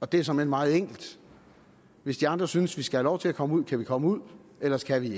det er såmænd meget enkelt hvis de andre synes vi skal have lov til at komme ud kan vi komme ud ellers kan vi